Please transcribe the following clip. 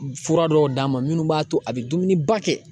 Fura dɔw d'a ma minnu b'a to a bɛ dumuniba kɛ